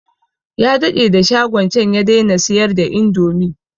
Ya daɗe da shagon can ya daina siyar da indomi